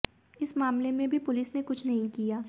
इस मामले में भी पुलिस ने कुछ नहीं किया